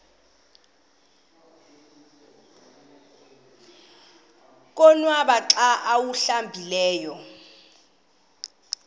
konwaba xa awuhlambileyo